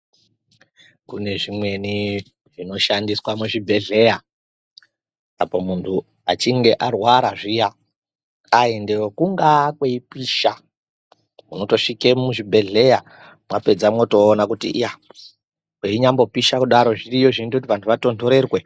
Kune zvimweni zvinoshandiswa muzvibhedhlera apo muntu achinge arwara zviya aendeyo, kungaa kweipisha unotosvike muzvibhedhlera mwapedza motoona kuti reinyambopisha kudaro, zviriyo zvinoita kuti vantu vatonhorerwe.